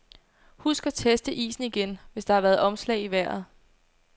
Husk at teste isen igen, hvis der har været omslag i vejret.